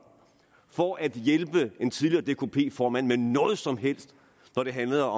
for at hjælpe en tidligere dkp formand med noget som helst når det handlede